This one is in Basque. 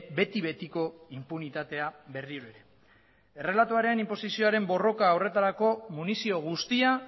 beti betiko inpunitatea berriro ere errelatoaren inposizioaren borroka horretarako munizio guztia